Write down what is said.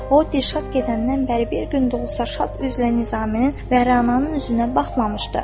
O, Dirşad gedəndən bəri bir gün də olsa şad üzlə Nizaminin və Rənanın üzünə baxmamışdı.